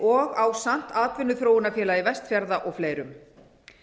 og ásamt atvinnuþróunarfélagi vestfjarða og fleirum